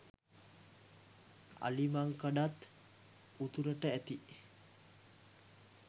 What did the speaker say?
අලිමංකඩත් උතුරට ඇති